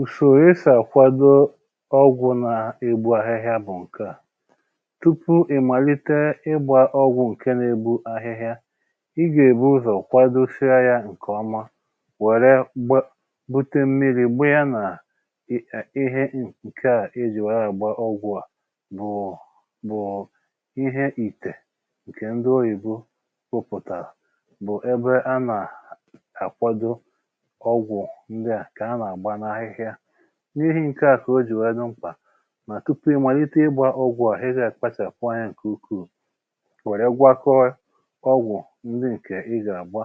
Usòrò esi àkwado ọgwụ̀ nà-egbu ahịhịa bụ̀ ǹke à: tupu ị̀ màlite ịgbȧ ọgwụ̀ ǹke n’egbu ahịhịa, ị gà-èbu ụzọ̀ kwadosia yȧ ǹkè ọma wère gba bute mmiri̇ gbị̇ị̇ya nà ị̇ e ihe n ǹke à ejì wee agba ọgwụ̀ à bụ̀ọ bụ̀ọ ihė ìtè ǹkè ndị oyìbo pụ̀pụ̀tàrà bụ̀ ebe a nà-àkwado ọgwụ̀ ndị à ka ana agba n’ahịhịa. N’ihi ǹke à kà o jì wèe dum̀pà mà tupu i màlite ịgbȧ ọgwụ̇ a ị ga akpachapụ̀ anya nke ukuu were gbakọọ ọgwụ̇ ndị nke ị ga-agba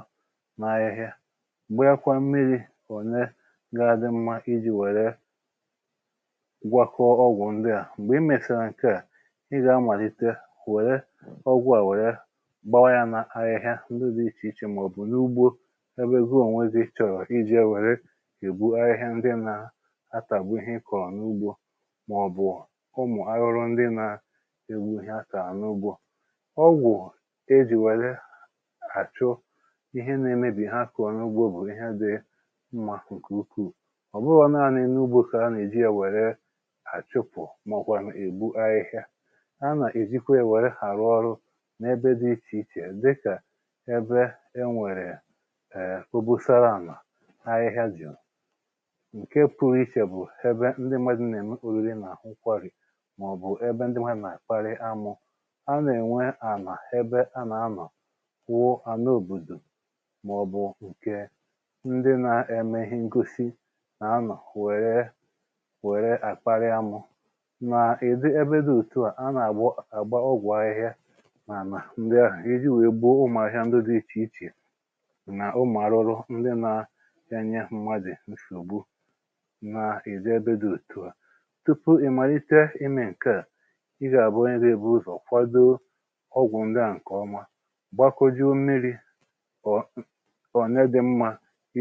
n’àhịhịa gbayịkwa mmiri one ga-adị mma iji wère gwakọọ ọgwụ̀ ndị a. Mgbè i mèsàrà ǹke à ị gà-amàlite wère ọgwụ̇ à wère gbawa ya n’ahịhịa ndị dị̇ ichè ichè mà ọ̀ bụ̀ n’ugbȯ ebe gị ònwè gị chọ̀rò iji wee pịgbuo àhịhịa ndị na atagbu ihe ịkọ̀ n’ugbȯ mà ọ̀bụ̀ ụmụ̀ arụrụ ndị nà-ègbu ihe a kàà nụ ugbȯ. Ọgwụ̀ ejì wèlè àchụ ihe na-emebì ha akụ̇ n’ugbȯ bụ̀ ihe dị mmȧ nkè ukwuù. Ọbụghụ naanị n’ugbȯ ka anà-èji yȧ wère àchụpụ̀ mọ̀ kwanụ̀ ègbu ahịhịa a, nà-èjikwa yȧ wère ghàrụ ọrụ n’ebe dị ichè ichè dịkà ebe e nwèrè {èe} obosara ala ahịhịa juu. Nke pụ̀rụ̀ ichè bụ̀ ebe ndị mmadụ nà-ème oriri nà nkwarì mà ọ̀bụ̀ ebe ndị mmadụ nà-àkparị amụ̇ a nà-ènwe àla ebe a nà-anọ̀ kwụọ à na òbòdò mà ọ̀bụ̀ ǹkè ndị nȧ-eme ihe ngosi nà anọ̀ wère wère àkparị amụ̇ nà ị̀dị ebe dị òtu à a nà-àgba àgba ọgwụ̀ ahịhịa n’ànà ndị ahụ̀ ịhi̇ wèe gboo ụmụ̀ ahịa ndị dị̇ ichè ichè nà ụmụ̀ àrụrụ ndị nà e nye mmadụ nsògbu na-ejé ebe dị òtù à. Tupu ị̀màlite imė ǹke à i gà-àbụ onye ga-ebu ụzọ̀ kwadoo ọgwụ̀ ndi à ǹkèọma gbakọjuo mmiri̇ ọ̀ ọ̀ne dị̀ mmȧ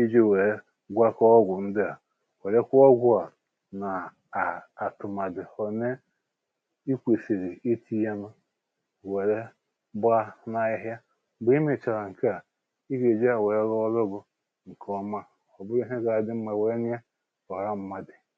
iji̇ wèe gwakọọ ọgwụ̀ ndi à wèrekwa ọgwụ̀ a nà à àtụ̀màdị̀ ọ̀ne i kwèsìrì i ti̇ yȧ nụ wère gbaa n’ahịhịa. Mgbe imėchàrà ǹke à i gà-èji à wèe rụọ ọrụ gụ̀ ǹkè ọma ọ̀ bụrụ ihe ga-adị mmȧ wee nye ọra mmadị